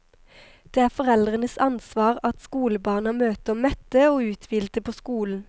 Det er foreldrenes ansvar at skolebarna møter mette og uthvilte på skolen.